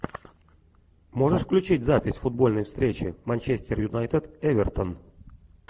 можешь включить запись футбольной встречи манчестер юнайтед эвертон